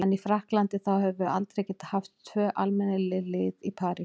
En í Frakklandi, þá höfum við aldrei getað haft tvö almennileg lið í París.